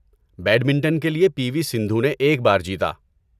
Badminton کے لیے، P V Sindhu نے ایک بار جیتا۔